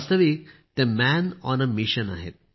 वास्तविक ते man on a mission आहेत